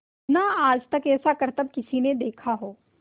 ना आज तक ऐसा करतब किसी ने देखा हो